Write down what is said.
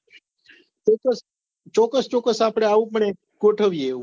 ચોક્કસ ચોક્કસ ચોક્કસ આપડે આવું પણ એક ગોઠવીએ એવું